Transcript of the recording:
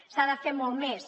s’ha de fer molt més